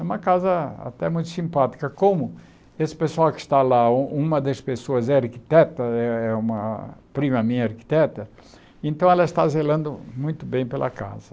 É uma casa até muito simpática, como esse pessoal que está lá, um uma das pessoas é arquiteta, é é uma prima minha arquiteta, então ela está zelando muito bem pela casa.